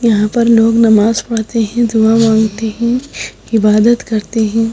यहां पर लोग नमाज पढ़ते हैं दुआ मांगते हैं इबादत करते हैं।